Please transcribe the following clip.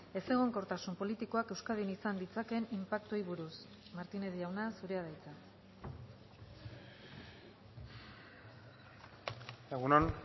ezegonkortasun politikoak euskadin izan ditzakeen inpaktuei buruz martínez jauna zurea da hitza egun on